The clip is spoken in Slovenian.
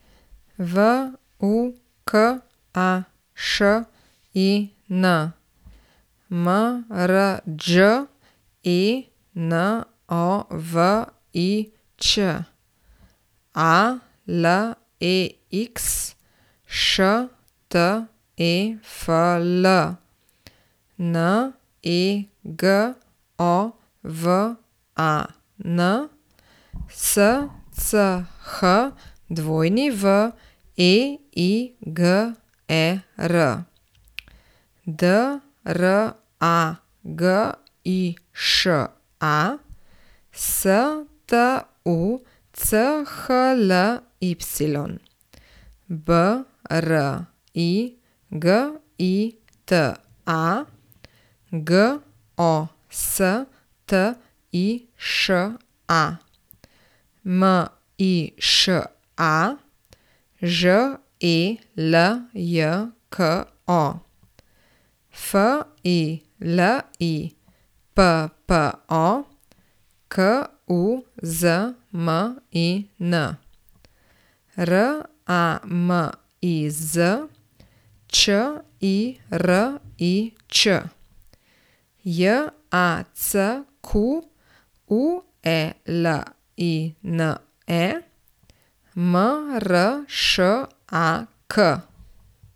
V U K A Š I N, M R Đ E N O V I Ć; A L E X, Š T E F L; N E G O V A N, S C H W E I G E R; D R A G I Š A, S T U C H L Y; B R I G I T A, G O S T I Š A; M I Š A, Ž E L J K O; F I L I P P O, K U Z M I N; R A M I Z, Č I R I Č; J A C Q U E L I N E, M R Š A K.